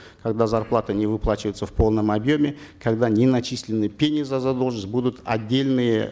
когда зарплата не выплачивается в полном объеме когда не начислены пени за задолженность будут отдельные